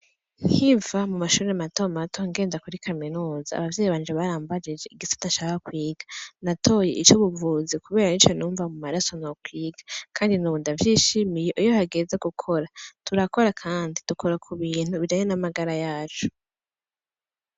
Nkiva kumashure matomato ngenda kuri kaminuza abavyeyi barambajije igisata shaka kwiga natoye icubuvuzi kubera arico numva mumaraso nokwiga kandi nubu ndavyishimiye iyo hageze gukora turakora kandi dukora kubintu bikanye n'amagara yacu.